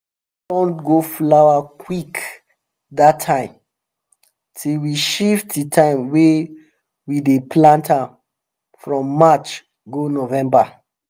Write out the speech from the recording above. kale run go flower quick that time till we shift the time wey we dey plant am from march go november